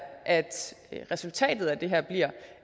at resultatet af det her bliver